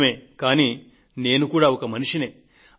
నిజమే కానీ నేను కూడా ఒక మనిషినే